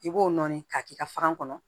I b'o nɔɔni k'a k'i ka faran